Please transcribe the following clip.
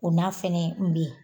O n'a fɛnɛ be yen